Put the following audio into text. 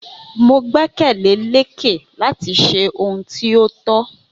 Mo gbẹ́kẹ̀lé Lékè láti ṣe ohun tí o tó